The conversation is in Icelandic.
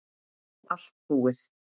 Allt búið